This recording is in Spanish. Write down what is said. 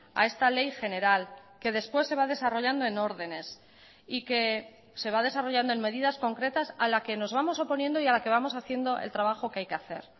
a esta ley general que después se va desarrollando en órdenes y que se va desarrollando en medidas concretas a la que nos vamos oponiendo y a la que vamos haciendo el trabajo que hay que hacer